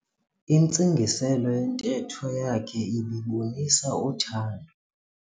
Intsingiselo yentetho yakhe ibibonisa uthando.